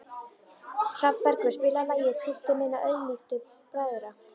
Hrafnbergur, spilaðu lagið „Systir minna auðmýktu bræðra“.